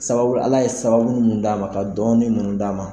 Sababu Ala ye sababu munnu d'an ma, ka dɔɔnin munnu d'an ma